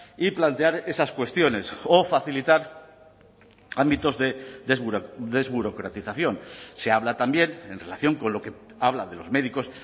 y plantear esas cuestiones o facilitar ámbitos de desburocratización se habla también en relación con lo que habla de los médicos